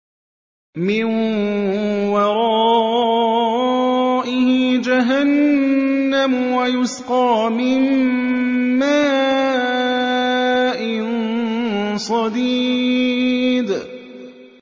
مِّن وَرَائِهِ جَهَنَّمُ وَيُسْقَىٰ مِن مَّاءٍ صَدِيدٍ